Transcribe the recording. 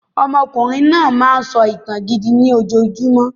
Ọmọkùnrin náà máa ń sọ ìtàn gidi ni ojojúmọ́